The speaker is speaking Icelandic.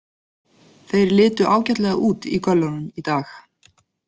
Þeir litu ágætlega út í göllunum í dag.